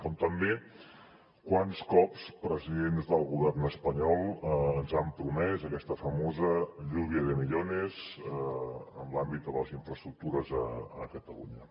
com també quants cops presidents del govern espanyol ens han promès aquesta famosa lluvia de millones en l’àmbit de les infraestructures a catalunya